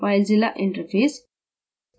filezilla interface